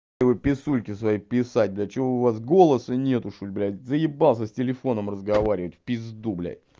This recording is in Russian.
писульки свои писать блядь что у вас голоса нет что ли блядь заебался с телефоном разговаривать в пизду блядь